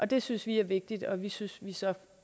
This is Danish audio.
det synes vi er vigtigt og det synes vi så